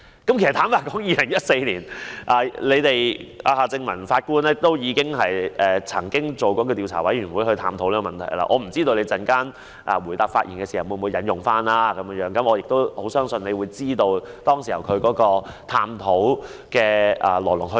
坦白說 ，2014 年夏正民法官已領導調查委員會探討有關問題，我不知局長稍後回應時會否引用，但我相信局長清楚知道當時進行探討的來龍去脈。